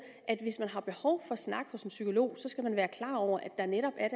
at hvis man har behov for at snakke hos en psykolog skal man være klar over at der netop er